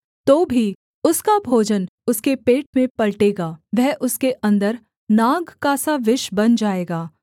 तो भी उसका भोजन उसके पेट में पलटेगा वह उसके अन्दर नाग का सा विष बन जाएगा